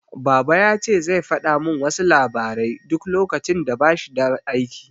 Baba yace zai fada min wasu labarai duk lokacin da bashi da aiki